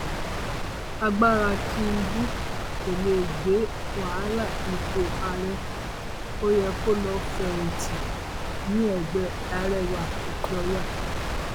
agbára tìǹbù kò lè gbé wàhálà ipò ààrẹ ó yẹ kó lọọ fẹyìntì níẹgbẹ arẹwà òkèọyà